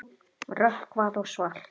Rökkvað og svalt.